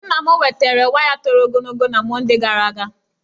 Nna m wetara waya toro ogologo na Mọndee gara aga.